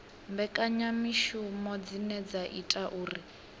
mbekanyamishumo dzine dza ita uri